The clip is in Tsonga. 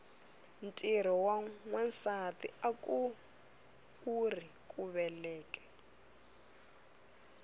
ntirho wa nwasati akuuri ku veleka